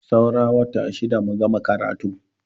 Saura wata shida mu gama karatu.